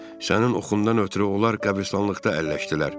Sənin oxundan ötrü onlar qəbirstanlıqda əlləşdilər.